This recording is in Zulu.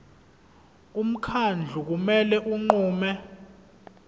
umkhandlu kumele unqume